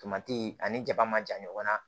Tomati ani jaba ma jan ɲɔgɔnna